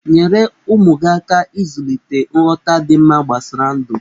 Nyere ụmụ gi aka ịzulịte nghọta dị mma gbasara ndụ.